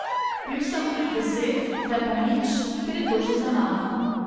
Bil sem deset, zdaj pa nič, ker je to že za mano.